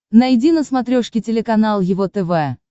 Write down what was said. найди на смотрешке телеканал его тв